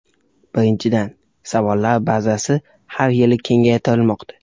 Birinchidan, savollar bazasi har yili kengaytirilmoqda.